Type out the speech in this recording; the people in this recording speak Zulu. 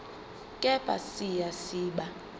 kepha siya siba